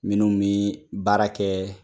Minnu min baara kɛ